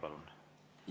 Palun!